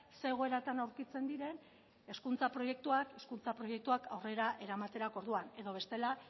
ze egoeratan aurkitzen diren hezkuntza proiektua hezkuntza proiektuak aurrera eramaterako orduan edo bestela